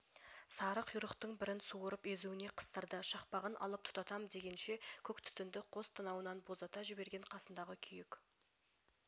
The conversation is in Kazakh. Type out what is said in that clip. сары құйрықтың бірін суырып езуіне қыстырды шақпағын алып тұтатам дегенше көк түтінді қос танауынан боздата жіберген қасындағы күйек